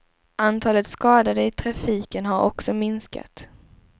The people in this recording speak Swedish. Antalet skadade i trafiken har också minskat.